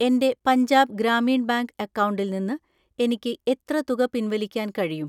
എൻ്റെ പഞ്ചാബ് ഗ്രാമീൺ ബാങ്ക് അക്കൗണ്ടിൽ നിന്ന് എനിക്ക് എത്ര തുക പിൻവലിക്കാൻ കഴിയും?